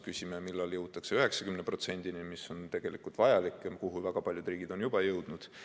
Küsime, millal jõutakse 90%-ni, mis on tegelikult vajalik ja kuhu väga paljud riigid on juba jõudnud.